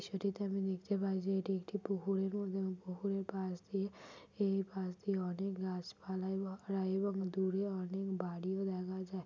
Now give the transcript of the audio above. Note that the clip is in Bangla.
ছবিটিতে আমি দেখতে পাই যে এটি একটি পুকুরের মতন এবং পুকুরের পাশ দিয়ে এ-এ পাশ দিয়ে অনেক গাছপালা এবং দূরে অনেক বাড়িও দেখা যায়।